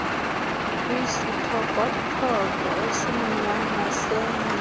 kwisithokothoko esimnyama sengcwaba